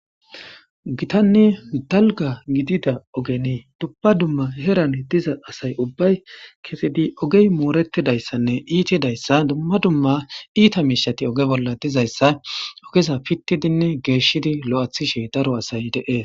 Gitanni dalga gidida ogenii dubba dumma herane diza asay ubbay kesidi ogey mooretidayssanne iitidayssa dumma dumma iita miishati oge bolla dizayssa ogeza pittidinne geeshidi lo7athishe daro asay deees/